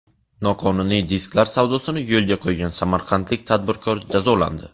Noqonuniy disklar savdosini yo‘lga qo‘ygan samarqandlik tadbirkor jazolandi.